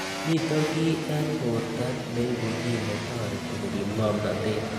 Mito kiy eng' porto neipu kiy ne tareti korip ng'omnatet